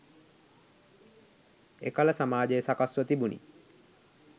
එකල සමාජය සකස්ව තිබුණි.